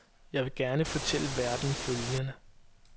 Jeg vil gerne fortælle verden følgende.